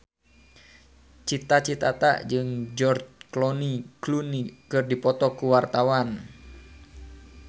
Cita Citata jeung George Clooney keur dipoto ku wartawan